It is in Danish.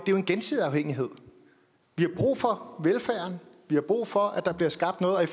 jo en gensidig afhængighed vi har brug for velfærden vi har brug for at der bliver skabt noget og i